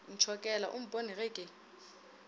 ntšhokela o mpone ge ke